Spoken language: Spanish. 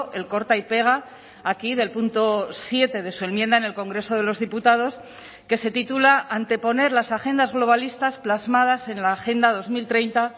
el corta y pega aquí del punto siete de su enmienda en el congreso de los diputados que se titula anteponer las agendas globalistas plasmadas en la agenda dos mil treinta